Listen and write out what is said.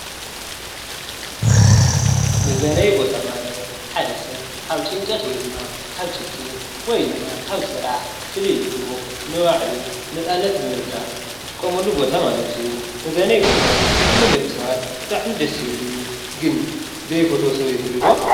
መዝናነይ ቦታ ማለት ሓደ ሰብ ካብ ጭንቀት ወይ ድማ ካብ ችግር ወይ ድማ ካብ ስራሕ ፍልይ ኢሉ ንባዕሉ ነፃነት ብምርካብ ዝጥቀመሉ ቦታ ማለት እዩ። መዝናነይ ቦታ ንኹሎም ደቂ ሰባት ብጣዕሚ ደስ ዝብል እዩ። ግን ዘይፈትዎ ሰብ ይህሉ ዶ?